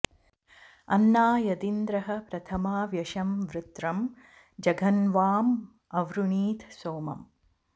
अन्ना॒ यदिन्द्रः॑ प्रथ॒मा व्याश॑ वृ॒त्रं ज॑घ॒न्वाँ अ॑वृणीत॒ सोम॑म्